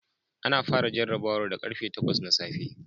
Ana fara jarrabawar da karfe 8 na safe